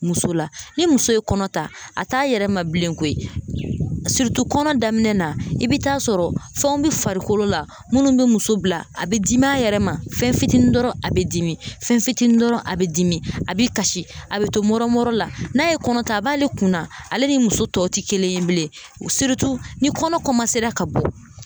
Muso la ni muso ye kɔnɔ ta, a t'a yɛrɛ ma bilen koyi kɔnɔ daminɛ na i bi taa sɔrɔ fɛnw bi farikolo la, munnu bi muso bila, a bi dimi a yɛrɛ ma fɛn fitinin dɔrɔn a be dimi fɛn fitini dɔrɔn a bɛ dimi; a bi kasi, a bi to mɔrɔmɔrɔ la, n'a ye kɔnɔ ta a b'ale kunna, ale ni muso tɔ ti kelen ye bilen ni kɔnɔ ka bɔ